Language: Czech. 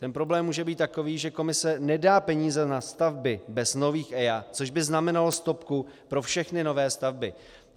Ten problém může být takový, že Komise nedá peníze na stavby bez nových EIA, což by znamenalo stopku pro všechny nové stavby.